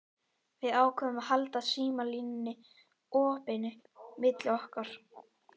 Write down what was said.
Við ákváðum að halda símalínunni opinni milli okkar.